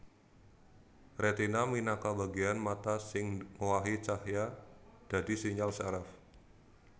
Retina minangka bagéan mata sing ngowahi cahya dadi sinyal syaraf